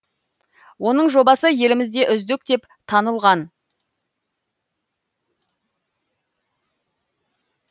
оның жобасы елімізде үздік деп танылған